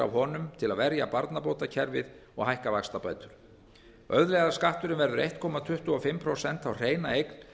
honum til að verja barnabótakerfið og hækka vaxtabætur auðlegðarskatturinn verður einn komma tuttugu og fimm prósent á hreina eign